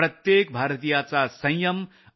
प्रत्येक भारतीयाचा संयम आणि